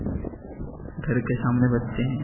घर के सामने बच्चे हैं।